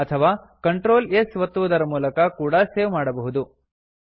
ಅಥವಾ control S ಒತ್ತುವುದರ ಮೂಲಕ ಕೂಡಾ ಸೇವ್ ಮಾಡಬಹುದು